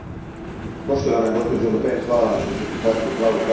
Poštovana gospođo Le Pen, hvala vam što ste prihvatili plavu karticu.